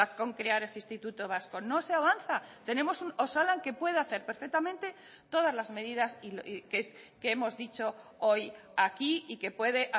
con crear ese instituto vasco no se avanza tenemos un osalan que puede hacer perfectamente todas las medidas que hemos dicho hoy aquí y que puede